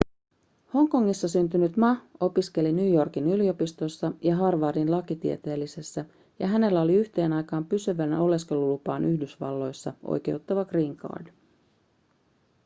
hongkongissa syntynyt ma opiskeli new yorkin yliopistossa ja harvardin lakitieteellisessä ja hänellä oli yhteen aikaan pysyvään oleskelulupaan yhdysvalloissa oikeuttava green card